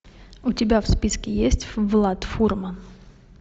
у тебя в списке есть влад фурман